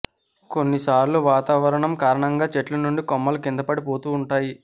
కొన్ని సార్లు వాతావరణం కారణంగా చెట్ల నుండి కొమ్మలు కిందకి పడిపోతూ ఉంటాయి